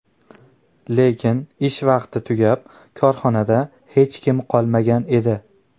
Lekin ish vaqti tugab, korxonada hech kim qolmagan edi.